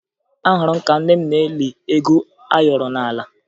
Ahụrụ m ka nne nne m na-eli ego ayọrọ n'ala